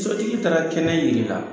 Sotigi taara kɛnɛ yir'i la